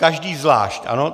Každý zvlášť, ano?